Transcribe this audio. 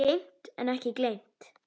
Geymt en ekki gleymt